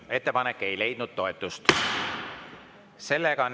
Ettepanek ei leidnud toetust.